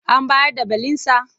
An bayar da belinsa?